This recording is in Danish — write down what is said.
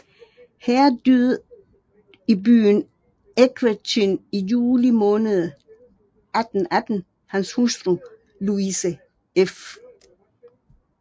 Her døde i byen Equerchin i juli måned 1818 hans hustru Louise f